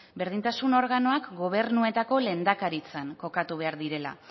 berdintasun organoak gobernuetako lehendakaritzan kokatu behar direla